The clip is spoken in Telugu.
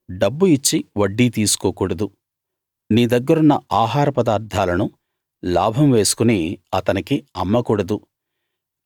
డబ్బు ఇచ్చి వడ్డీ తీసుకోకూడదు నీ దగ్గరున్న ఆహారపదార్థాలను లాభం వేసుకుని అతనికి అమ్మకూడదు